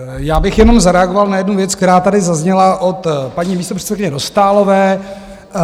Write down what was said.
Já bych jenom zareagoval na jednu věc, která tady zazněla od paní místopředsedkyně Dostálové.